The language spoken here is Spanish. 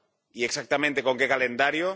y, exactamente, con qué calendario?